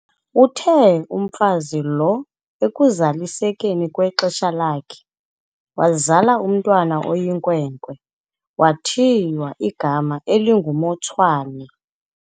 Uthe umfazi lo ekuzalisekeni kwexesha lakhe, wazala umntwana oyinkwenkwe, wathiywa igama elinguMotshwane.